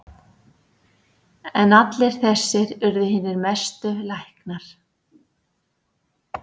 En allir þessir urðu hinir mestu læknar.